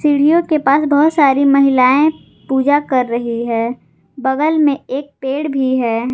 सीढ़ियों के पास बहुत सारी महिलाएं पूजा कर रही है बगल में एक पेड़ भी है।